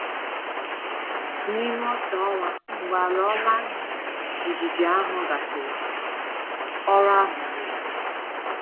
N’ime otu ọnwa mgbe ala ọma jijiji ahụ gasịrị, ọrụ ahụ zuru.